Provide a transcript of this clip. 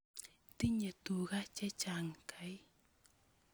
Tinye tuga che chang' kai